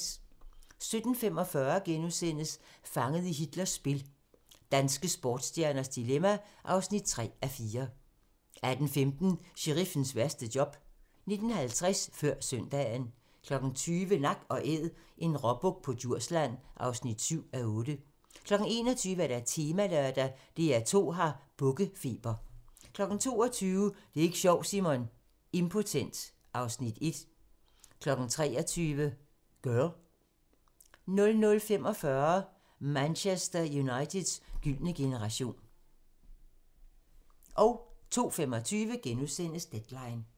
17:45: Fanget i Hitlers spil - danske sportsstjernes dilemma (3:4)* 18:15: Sheriffens værste job 19:50: Før Søndagen 20:00: Nak & Æd – en råbuk på Djursland (7:8) 21:00: Temalørdag: DR2 har bukkefeber 22:00: Det er ik' sjovt, Simon! - Impotent (Afs. 1) 23:00: Girl 00:45: Manchester Uniteds gyldne generation 02:25: Deadline *